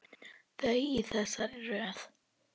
Þau eru í þessari röð: